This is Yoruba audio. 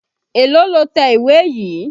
Èlòó lo tẹ ìwé yìí?